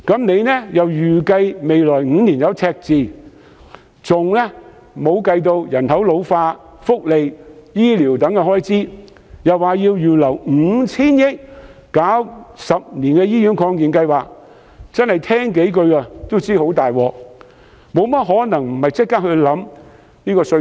司長又預計未來5年會有赤字，亦尚未計入人口老化的福利及醫療等開支，更說要預留 5,000 億元推行十年醫院發展計劃，真是光聽也知道問題嚴重，豈可不立即考慮改革稅制？